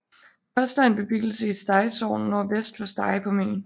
Koster er en bebyggelse i Stege Sogn nordvest for Stege på Møn